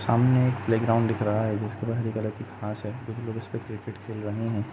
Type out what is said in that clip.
सामने एक playground दिख रहा है हरे कलर की घास है कुछ लोग इसपे क्रिकेट खेल रहे है।